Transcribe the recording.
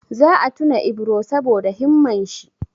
Za a tuna Ibro saboda himman shi.